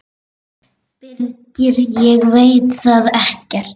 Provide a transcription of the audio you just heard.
Birgir: Ég veit það ekkert.